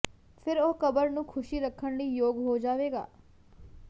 ਫਿਰ ਉਹ ਕਬਰ ਨੂੰ ਖ਼ੁਸ਼ੀ ਰੱਖਣ ਲਈ ਯੋਗ ਹੋ ਜਾਵੇਗਾ